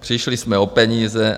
Přišli jsme o peníze.